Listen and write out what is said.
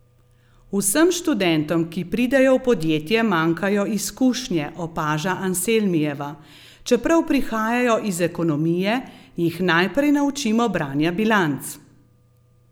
Vsem študentom, ki pridejo v podjetje, manjkajo izkušnje, opaža Anselmijeva: 'Čeprav prihajajo iz ekonomije, jih najprej naučimo branja bilanc.